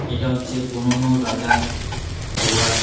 এইটা হচ্ছে পুরোনো রাজার দোয়ার।